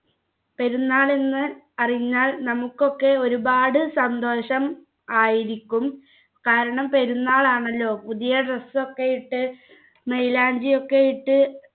പെരുന്നാളിന്ന് അറിഞ്ഞാൽ നമുക്കൊക്കെ ഒരുപാട് സന്തോഷം ആയിരിക്കും കാരണം പെരുന്നാൾ ആണല്ലോ പുതിയ dress ഒക്കെ ഇട്ട് മൈലാഞ്ചി ഒക്കെ ഇട്ട്